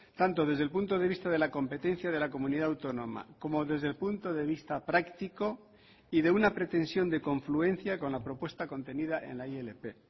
tanto desde el punto de vista de la competencia de la comunidad autónoma como desde el punto de vista práctico y de una pretensión de confluencia con la propuesta contenida en la ilp